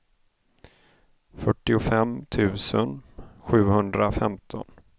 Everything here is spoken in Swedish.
fyrtiofem tusen sjuhundrafemton